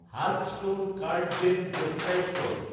Hearthstone card game describe কর